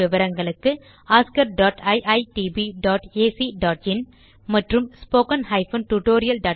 மேலும் விவரங்களுக்கு oscariitbacஇன் மற்றும் spoken tutorialorgnmeict இன்ட்ரோ